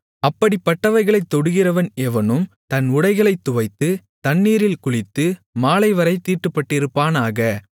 அப்படிப்பட்டவைகளைத் தொடுகிறவன் எவனும் தன் உடைகளைத் துவைத்து தண்ணீரில் குளித்து மாலைவரைத் தீட்டுப்பட்டிருப்பானாக